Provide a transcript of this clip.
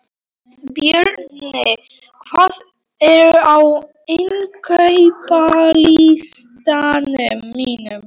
Björney, hvað er á innkaupalistanum mínum?